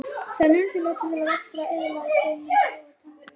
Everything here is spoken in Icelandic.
Það er nauðsynlegt til vaxtar, eðlilegrar beinmyndunar og tannbyggingar.